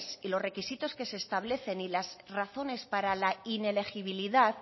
y los requisitos que se establecen y las razones para la inelegibilidad